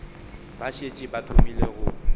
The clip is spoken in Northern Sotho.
ba šetše ba thomile go